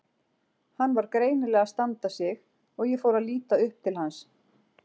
Hann var greinilega að standa sig og ég fór að líta upp til hans.